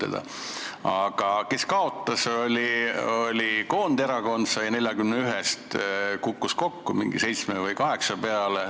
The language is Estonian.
Aga see, kes kaotas, oli Koonderakond, tema kukkus 41 koha pealt mingi seitsme või kaheksa koha peale.